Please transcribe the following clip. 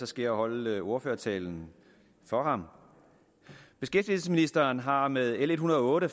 skal jeg holde ordførertalen for ham beskæftigelsesministeren har med l en hundrede og otte